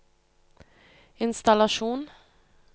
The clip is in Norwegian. innstallasjon